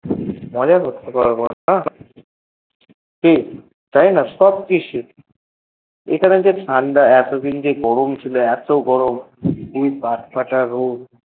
মজা হচ্ছে মজা করব কি তাইনা এখানে এতদিন গরম ছিল এত গরম ক ফাটা রোদ